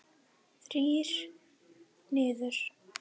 Þrír niður.